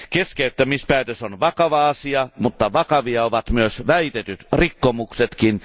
Keskeyttämispäätös on vakava asia, mutta vakavia ovat myös väitetyt rikkomuksetkin.